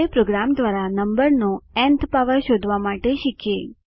હવે પ્રોગ્રામ દ્વારા નમ્બરનો ન્થ પાવર શોધવા માટે શીખીએ